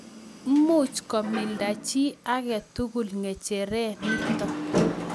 much komilda chi age tugul ng'echere nito